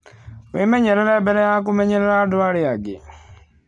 Wĩmenyerere mbere ya kũmenyerera andũ arĩa angĩ.